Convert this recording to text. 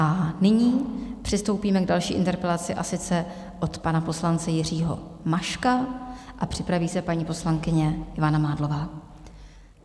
A nyní přistoupíme k další interpelaci, a sice od pana poslance Jiřího Maška a připraví se paní poslankyně Ivana Mádlová.